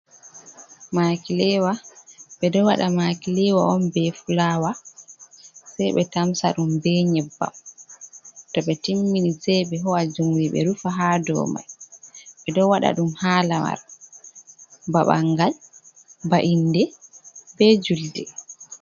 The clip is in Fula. Makilewa ɓe ɗo waɗa makilewa on be fulawa, sei ɓe tamsa ɗum be nyebbam, to ɓe timmini sei ɓe ho'a jumri ɓe rufa ha do mai, ɓe ɗo waɗa ɗum ha lamar ba ɓangal, ba inde, be julde.